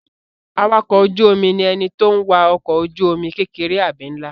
Awakọ̀ ojú-omi ni ẹni tó n wa ọkọ̀ ojú-omi kékeré àbí nlá